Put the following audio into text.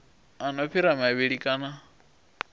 a no fhira mavhili kana